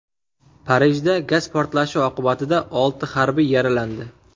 Parijda gaz portlashi oqibatida olti harbiy yaralandi.